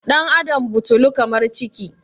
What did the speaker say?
ɗan' Adam butulu kamar ciki